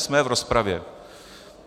Jsme v rozpravě.